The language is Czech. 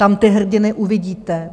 Tam ty hrdiny uvidíte.